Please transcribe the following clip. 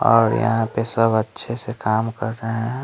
और यहां पे सब अच्छे से काम कर रहे हैं।